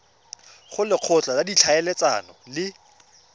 go lekgotla la ditlhaeletsano le